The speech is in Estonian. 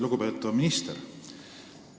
Lugupeetav minister!